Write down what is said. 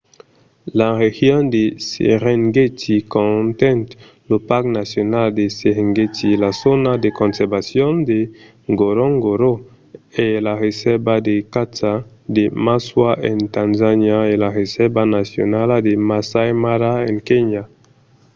la region de serengeti conten lo parc nacional de serengeti la zòna de conservacion de ngorongoro e la resèrva de caça de maswa en tanzania e la resèrva nacionala de masai mara a kenya